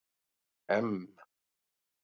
M